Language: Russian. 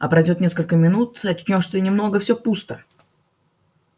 а пройдёт несколько минут очнёшься немного всё пусто